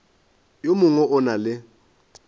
yo mongwe o na le